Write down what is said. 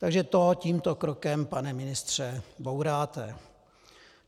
Takže to tímto krokem, pane ministře, bouráte.